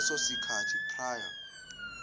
leso sikhathi prior